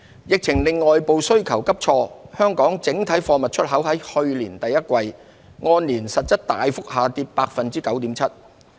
疫情令外部需求急挫，香港整體貨物出口在去年第一季按年實質大幅下跌 9.7%。